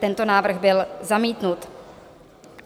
Tento návrh byl zamítnut.